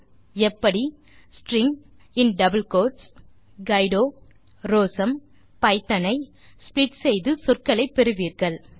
நீங்கள் எப்படி ஸ்ட்ரிங் கைடோராசம்பித்தோன் ஐ ஸ்ப்ளிட் செய்து சொற்களை பெறுவீர்கள்